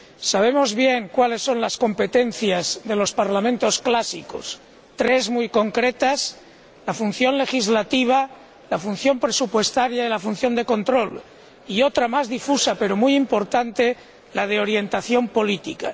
Sabemos bien cuáles son las competencias de los parlamento clásicos tres muy concretas la función legislativa, la función presupuestaria y la función de control, y otra más difusa, pero muy importante la de orientación política.